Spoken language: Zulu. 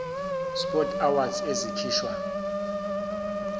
sport awards ezikhishwa